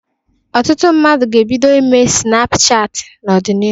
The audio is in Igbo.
Ọtụtụ mmadụ ga-ebido ime sịnapụ chatị n'ọdịnihu.